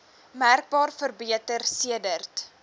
merkbaar verbeter sedert